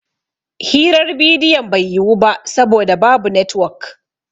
Hirar bidiyon bai yiwu ba saboda babu netwok